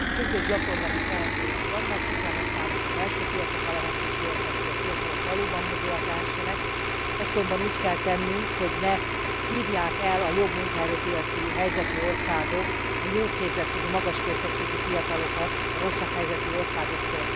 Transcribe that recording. Sürgős gyakorlati teendőink vannak, ki kell használnunk a belső piac adta lehetőségeket, hogy a fiatalok valóban mobilak lehessenek, ezt azonban úgy kell tennünk, hogy ne szívják el a jobb munkaerőpiaci helyzetű országok a jó képzettségű, magas képzettségű fiatalokat a rosszabb helyzetű országoktól.